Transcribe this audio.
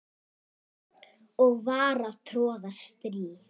og var að troða strý